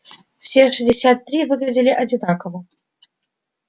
все шестьдесят три выглядели одинаково